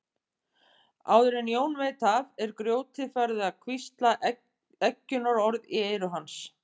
Áður en Jón veit af er grjótið farið að hvísla eggjunarorð í eyru hans.